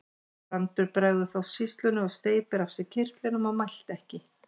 Brandur bregður þá sýslunni og steypir af sér kyrtlinum og mælti ekki.